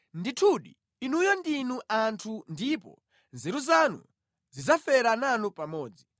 “Ndithudi inuyo ndinu anthu ndipo nzeru zanu zidzafera nanu pamodzi!